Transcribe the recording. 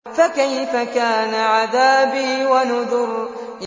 فَكَيْفَ كَانَ عَذَابِي وَنُذُرِ